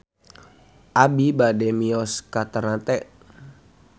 Abi bade mios ka Ternate